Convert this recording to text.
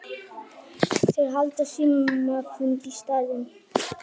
Þeir halda símafund í staðinn.